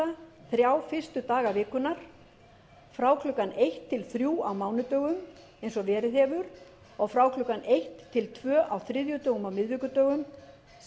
þrjá fyrstu daga vikunnar frá klukkan eitt til þrjú á mánudögum eins og verið hefur og frá klukkan eitt til klukkan tvö á þriðjudögum og miðvikudögum sem er